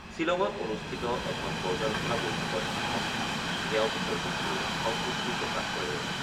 শ্বিলঙত অনুষ্ঠিত এখন পৰ্যালোচনা বৈঠকত ভাষণ দি তেওঁ বিষয়টোক লৈ সন্তুষ্টি প্ৰকাশ কৰে।